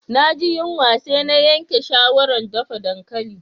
Na ji yunwa sai na yanke shawaran dafa dankali.